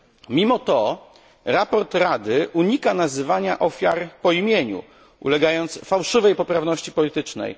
Mimo to raport Rady unika nazywania ofiar po imieniu, ulegając fałszywej poprawności politycznej.